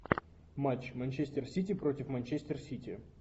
матч манчестер сити против манчестер сити